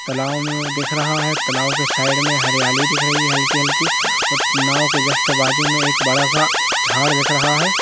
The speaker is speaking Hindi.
तालाब दिख रहा है तालाब के साइड मे हरियाली दिख रही है हल्की-हल्की नाव के जस्ट बाजू मे एक बड़ा-सा झाड़ दिख रहा है।